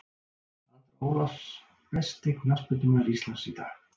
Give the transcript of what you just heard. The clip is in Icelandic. Andra ólafs Besti knattspyrnumaður Íslands í dag?